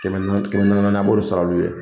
Kɛmɛ naani, kɛmɛ naani naani a b'olu sara olu ye.